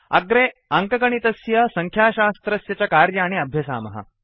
अग्रे अङ्कगणितस्य संख्याशास्त्रस्य च कार्याणि अभ्यसामः